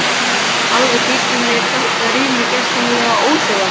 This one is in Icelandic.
Alveg þykir mér þetta rými gersamlega óþolandi.